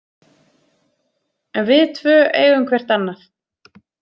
En við tvö eigum hvert annað.